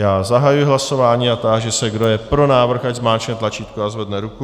Já zahajuji hlasování a táži se, kdo je pro návrh, ať zmáčkne tlačítko a zvedne ruku.